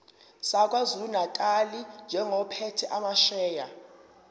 sakwazulunatali njengophethe amasheya